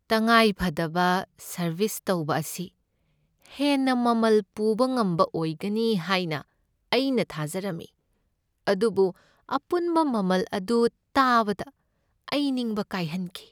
ꯇꯉꯥꯏꯐꯗꯕ ꯁꯔꯕꯤꯁ ꯇꯧꯕ ꯑꯁꯤ ꯍꯦꯟꯅ ꯃꯃꯜ ꯄꯨꯕ ꯉꯝꯕ ꯑꯣꯏꯒꯅꯤ ꯍꯥꯏꯅ ꯑꯩꯅ ꯊꯥꯖꯔꯝꯃꯤ, ꯑꯗꯨꯕꯨ ꯑꯄꯨꯟꯕ ꯃꯃꯜ ꯑꯗꯨ ꯇꯥꯕꯗ ꯑꯩ ꯅꯤꯡꯕ ꯀꯥꯏꯍꯟꯈꯤ꯫